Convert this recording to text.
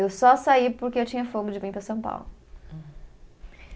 Eu só saí porque eu tinha fogo de vir para São Paulo. Hum